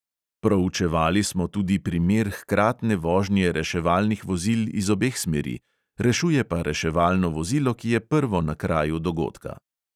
Proučevali smo tudi primer hkratne vožnje reševalnih vozil iz obeh smeri, rešuje pa reševalno vozilo, ki je prvo na kraju dogodka.